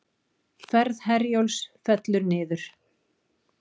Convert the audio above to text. Ferð Herjólfs fellur niður